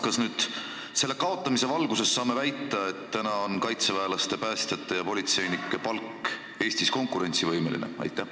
Kas selle kaotamise valguses saame nüüd väita, et kaitseväelaste, päästjate ja politseinike palk on Eestis konkurentsivõimeline?